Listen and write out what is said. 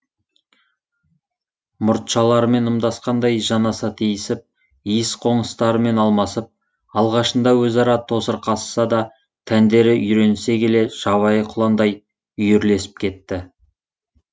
мұртшаларымен ымдасқандай жанаса тиісіп иіс қоңыстарымен алмасып алғашында өзара тосырқасса да тәндері үйренісе келе жабайы құландай үйірлесіп кетті